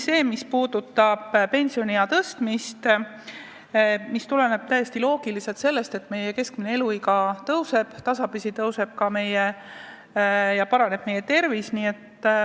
See puudutab pensioniea tõstmist, mis tuleneb täiesti loogiliselt sellest, et keskmine eluiga Eestis tõuseb ja inimeste tervis pole enam nii halb.